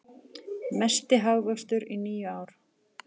Mesti hagvöxtur í níu ár